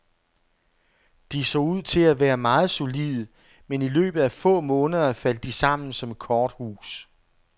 De så ud til at være meget solide, men i løbet af få måneder faldt de sammen som et korthus.